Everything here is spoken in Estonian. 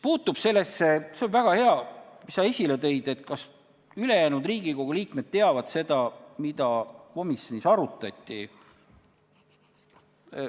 Nüüd sellest, mis puudutab seda – väga hea, et sa selle esile tõid –, kas ülejäänud Riigikogu liikmed teavad, mida komisjonis arutati.